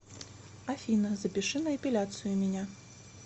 афина запиши на эпиляцию меня